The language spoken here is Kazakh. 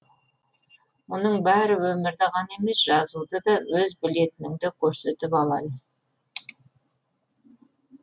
мұның бәрі өмірді ғана емес жазуды да өз білетініңді көрсетіп алайы